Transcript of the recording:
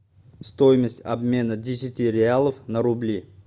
стоимость обмена десяти реалов на рубли